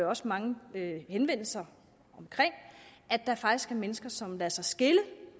også mange henvendelser om at der faktisk er mennesker som lader sig skille